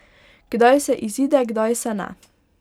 Kdaj se izide, kdaj se ne.